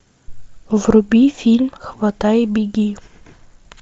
вруби фильм хватай и беги